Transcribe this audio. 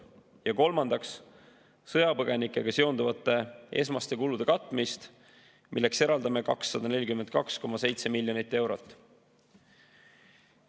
Ja kolmandaks, sõjapõgenikega seonduvate esmaste kulude katmine, milleks eraldame 242,7 miljonit eurot.